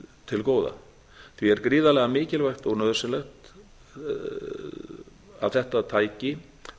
til góða því er gríðarlega mikilvægt að nauðsynlegt að þetta tæki